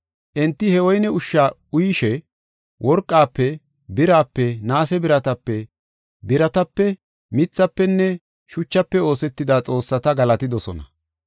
Enti he woyne ushsha uyishe, worqafe birape, naase biratape, biratape, mithafenne shuchafe oosetida xoossata galatidosona.